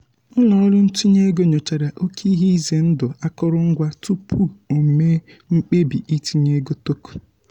ụlọọrụ ntinye ego nyochara oke ihe ize ndụ akụrụngwa tupu o mee mkpebi itinye ego token.